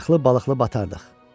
Qayıqlı balıqlı batardıq.